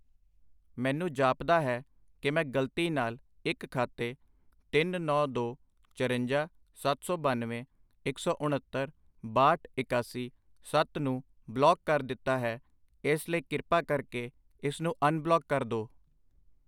ਮੈਨੂੰ ਜਾਪਦਾ ਹੈ ਕਿ ਮੈਂ ਗਲਤੀ ਨਾਲ ਇੱਕ ਖਾਤੇ ਤਿੰਨ, ਨੌਂ, ਦੋ, ਚਰੰਜਾ, ਸੱਤ ਸੌ ਬਾਨਵੇਂ, ਇੱਕ ਸੌ ਉਣੱਤਰ, ਬਾਹਠ, ਇਕਾਸੀ, ਸੱਤ ਨੂੰ ਬਲੌਕ ਕਰ ਦਿੱਤਾ ਹੈ ਇਸ ਲਈ ਕਿਰਪਾ ਕਰਕੇ ਇਸਨੂੰ ਅਨਬਲੌਕ ਕਰ ਦੋ।